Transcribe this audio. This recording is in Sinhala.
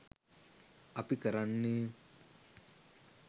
අපි කරන්නේ